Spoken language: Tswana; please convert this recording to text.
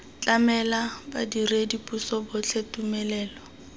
tlamela badiredi puso botlhe tumelelo